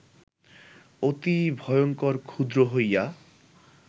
অতি ভয়ঙ্কর-ক্ষুদ্র হইয়া